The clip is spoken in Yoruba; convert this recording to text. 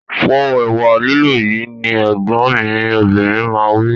Po ẹ̀wà lílọ̀ yìí! Ní Ẹ̀gbọ́n mi obìnrin máa wí